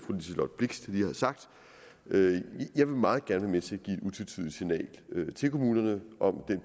liselott blixt lige har sagt jeg vil meget gerne være med til at give et utvetydigt signal til kommunerne om